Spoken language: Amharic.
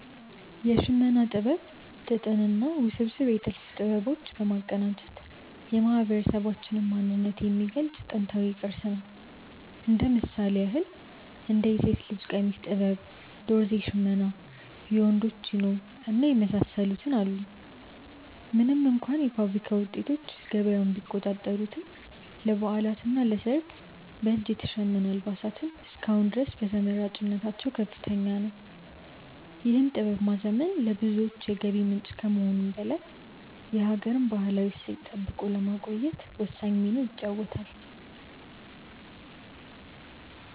የሽመና ጥበብ ጥጥንና ውስብስብ የጥልፍ ጥበቦች በማቀናጀት የማህበረሰባችንን ማንነት የሚገልጽ ጥንታዊ ቅርስ ነው። እንደ ምሳሌ ያክል እንደ የሴት ቀሚስ ጥበብ፣ ዶርዜ ሽመና፣ የወንዶች ጃኖ እና የመሳሰሉትን አሉ። ምንም እንኳ የፋብሪካ ውጤቶች ገበያውን ቢቆጣጠሩትም፣ ለበዓላትና ለሰርግ በእጅ የተሸመኑ አልባሳት እስከ አሁን ድረስ ተመራጭነታቸው ከፍተኛ ነው። ይህን ጥበብ ማዘመን ለብዙዎች የገቢ ምንጭ ከመሆኑም በላይ የሀገርን ባህላዊ እሴት ጠብቆ ለማቆየት ወሳኝ ሚና ይጫወታል።